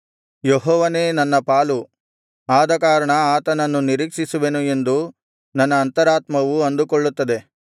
ಯೆಹೋವನೇ ನನ್ನ ಪಾಲು ಆದಕಾರಣ ಆತನನ್ನು ನಿರೀಕ್ಷಿಸುವೆನು ಎಂದು ನನ್ನ ಅಂತರಾತ್ಮವು ಅಂದುಕೊಳ್ಳುತ್ತದೆ